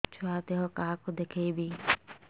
ଛୁଆ ଦେହ କାହାକୁ ଦେଖେଇବି